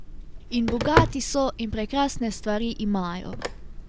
In bogati so in prekrasne stvari imajo.